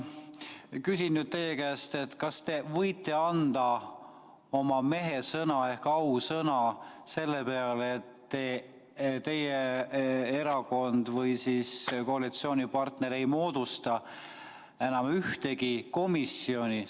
Küsin nüüd teie käest: kas te võite anda oma mehesõna ehk ausõna selle peale, et teie erakond või koalitsioonipartner ei moodusta enam ühtegi komisjoni?